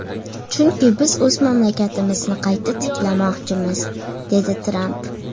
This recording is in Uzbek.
Chunki biz o‘z mamlakatimizni qayta tiklamoqchimiz”, dedi Tramp.